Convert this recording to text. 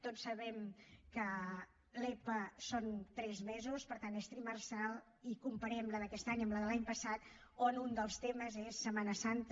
tots sabem que l’epa són tres mesos per tant és trimestral i comparem la d’aquest any amb la de l’any passat on un dels temes és setmana santa